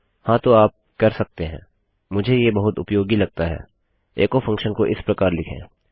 हाँ तो आप कर सकते है मुझे ये बहुत उपयोगी लगता है एचो फंक्शन को इस प्रकार लिखें